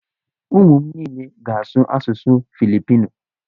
Ụmụ m niile ga-asụ asụsụ Filipino.